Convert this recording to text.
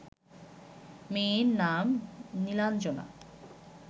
মেয়ের নাম নীলাঞ্জনা